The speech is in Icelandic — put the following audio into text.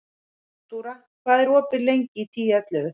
Náttúra, hvað er opið lengi í Tíu ellefu?